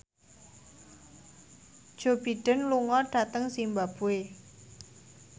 Joe Biden lunga dhateng zimbabwe